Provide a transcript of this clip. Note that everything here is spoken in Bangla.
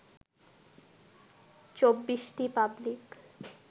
২৪টি পাবলিক